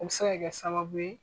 O bɛ se ka kɛ sababu ye